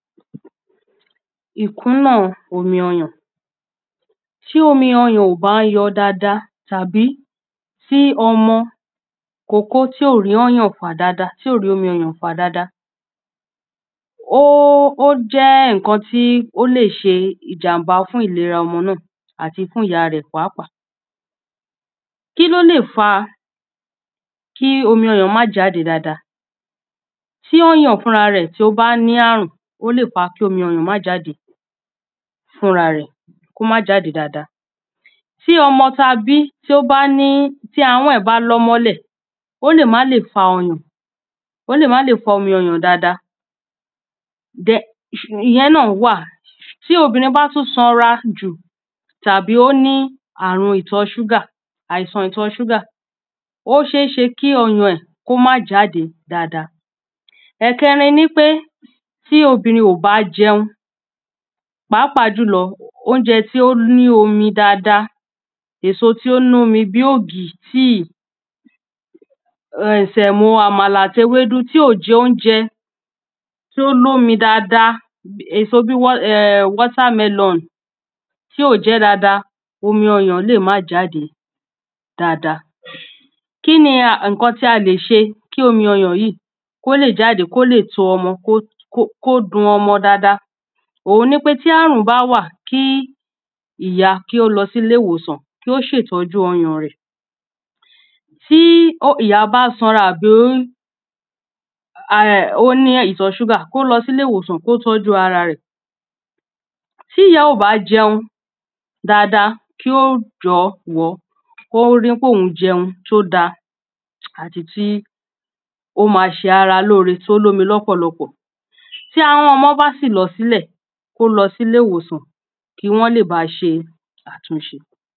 Ìkúnlẹ̀ omi ọyàn. Tí omi ọyàn ò bá lọ dáada tàbí tí ọmọ ìkókó tí ò rọ́yàn fà dáada tí ò rí omi ọyàn fà dáada. Ó jẹ́ ó jẹ́ nǹkan tí ó lè ṣe ìjàmbá fún ìlera ọmọ náà àti fún ìyá rẹ̀ pàápàá. Kílólè fa kí omi ọyàn má jáde dáada tí ọyàn fúnra ẹ̀ tí ó bá ní àrùn ó lè fa kí ọ́yàn má jáde fúnra ra ẹ̀ kí ó má jáde dáada. Tí ọmọ tá bí tí ó bá ní tí awọ́n ẹ̀ bá lọ́ mọ́lẹ̀ ó lè má le fa ọyàn ó lè má le fa omi ọyàn dáada ìyẹn náà wà. Tí obìnrin bá tún sanra jù tàbí ó ní àrun ìtọ̀ ṣúgà àìsàn ìtọ ṣúgà ó ṣé ṣe kí ọyàn ẹ̀ kí ó má jáde dáada. Ẹ̀kẹrin ni wípé tí obìnrin ò bá jẹun pàápàá jùlọ óúnjẹ tí ó ní omi dáada èso tí ó nomi bí ògì tí um sẹ̀mó àmàlà àti ewédú tí ò jẹ óúnjẹ tí ó lómi dáada èso bí um èso bí watermelon tí ó jẹ́ dáada omi ọyàn lè má jádẹ dáada. Kíni nǹkan tí a lè ṣe kí omi ọyàn yìí kó lè jáde kó lè tó ọmọ kó dun ọmọ dáada ohun ni wípé tí àrùn bá wà kí ìyá kí ó lọ sílé ìwòsàn kí ó ṣètọ́jú ọyàn rẹ̀. Tí ìyá bá sanra àbí ó ara ó ní ìtọ̀ ṣúgà kó lọ sílé ìwòsàn kó tọ́jú ara rẹ̀. Tí ìyá ó bá jẹun dáada kí ó jọ̀wọ́ kó rí pé òun jẹun tó dá àti tí ó má ṣe ara lóore tí ó lómi lọ́pọ̀lọpọ̀. tí ahọ́n ọmọ bá sì lọ sílẹ̀ kí ó lọ sí ilé ìwòsàn kí wọ́n lè bá ṣe àtúnṣe.